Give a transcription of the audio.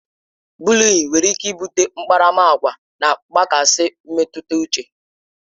Bụlịịn nwere ike bute akparamagwa na mgbakasị mmetụta uche